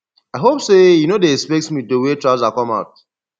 i hope say you no dey expect me to wear trouser come out